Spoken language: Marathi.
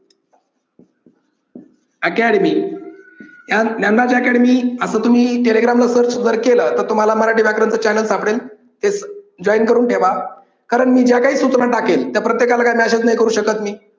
academy यात ज्ञानराज academy अस तुम्ही telegram ला सर्च केलं तर तुम्हाला मराठी व्याकरणच चैनल सापडेल हे अह जॉईन करून ठेवा कारण मी ज्या काही सूचना टाकेन त्या प्रत्येकाला काय मेसेज नाही करू शकत मी